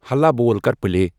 ہلا بول کر پلے ۔